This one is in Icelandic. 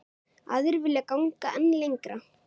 Aðrir vilja ganga enn lengra.